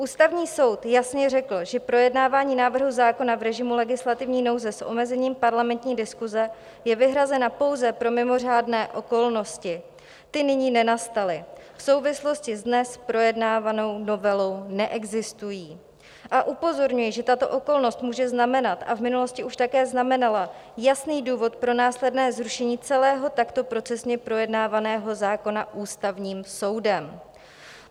Ústavní soud jasně řekl, že projednávání návrhu zákona v režimu legislativní nouze s omezením parlamentní diskuze je vyhrazeno pouze pro mimořádné okolnosti - ty nyní nenastaly, v souvislosti s dnes projednávanou novelou neexistují - a upozorňuje, že tato okolnost může znamenat, a v minulosti už také znamenala, jasný důvod pro následné zrušení celého takto procesně projednávaného zákona Ústavním soudem.